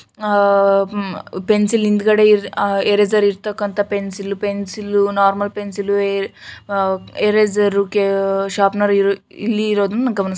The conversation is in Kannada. ಪೆನ್ಸಿಲ್ ಹಿಂದುಗಡೆ ಎರೇಸರ್ ಇರತಕ್ಕಂತಹ pencil pencil normal pencil eraser ಗೆ ಶಾಪ್ನರ್ ಇರುವುದನ್ನು ಇಲ್ಲಿ ಗಮನಿಸಬಹುದು.